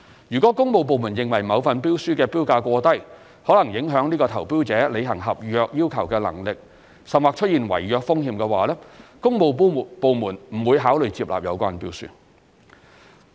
如果工務部門認為某份標書的標價過低，可能影響該投標者履行合約要求的能力，甚或出現違約風險，工務部門將不會考慮接納有關標書。